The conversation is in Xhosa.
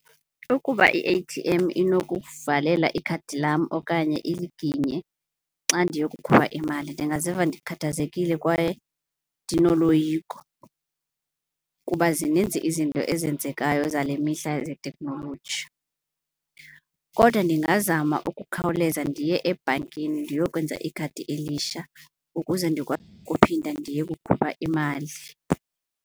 Ukuba i-A_T_M inokuvalela ikhadi lam okanye iliginye xa ndiyokukhupha imali, ndingaziva ndikhathazekile kwaye ndinoloyiko kuba zininzi izinto ezenzekayo zale mihla ze-technology. Kodwa ndingazama ukukhawuleza ndiye ebhankini ndiyokwenza ikhadi elisha ukuze kuphinda ndiye kukhupha imali.